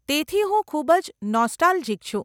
તેથી હું ખૂબ જ નોસ્ટાલ્જિક છું.